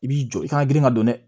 I b'i jɔ i kana girin ŋa dɔn dɛ